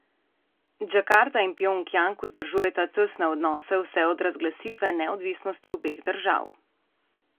Džakarta in Pjongjang vzdržujeta tesne odnose vse od razglasitve neodvisnosti obeh držav.